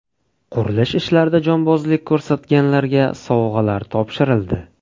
Qurilish ishlarida jonbozlik ko‘rsatganlarga sovg‘alar topshirildi.